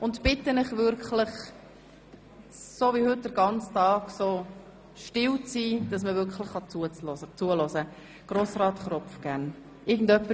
Ich bitte Sie wirklich, so wie heute den ganzen Tag, ruhig zu sein, sodass man zuhören kann.